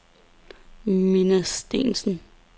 Minna Steensen